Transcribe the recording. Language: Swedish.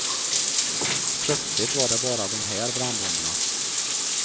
Plötsligt var det bara dom här brandbomberna.